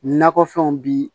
Nakɔ fɛnw bi